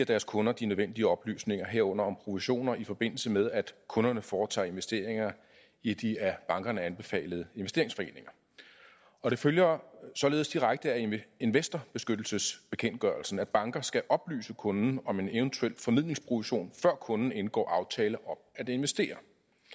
deres kunder de nødvendige oplysninger herunder om provisioner i forbindelse med at kunderne foretager investeringer i de af bankerne anbefalede investeringsforeninger det følger således direkte af investorbeskyttelsesbekendtgørelsen at banker skal oplyse kunden om en eventuel formidlingsprovision før kunden indgår aftale om at investere